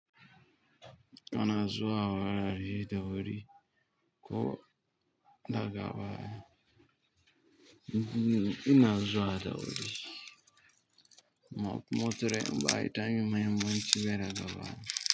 Ana zuwa wurare da wuri ko daga baya. Ina zuwa da wuri. Motoci ba ita ne mai mun ci baya daga baya.